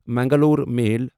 Mangalore میل